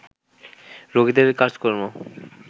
রোগীদের কাজকর্ম